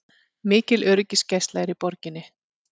Mikil öryggisgæsla er í borginni